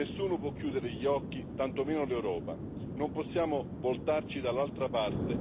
Non possiamo voltarci dall'altra parte come se tali tragedie fossero inevitabili.